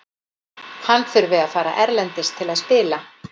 Hann þurfi að fara erlendis til að spila.